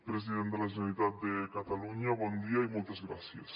president de la generalitat de catalunya bon dia i moltes gràcies